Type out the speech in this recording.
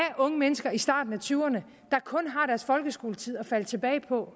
unge mennesker i starten af tyverne der kun har deres folkeskoletid at falde tilbage på